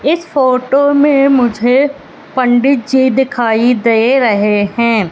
इस फोटो में मुझे पंडित जी दिखाई दे रहे हैं।